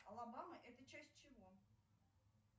алабама это часть чего